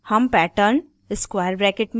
हम pattern square brackets में लिखते हैं